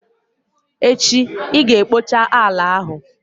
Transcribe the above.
Echi i ga-ekpocha ala ahụ!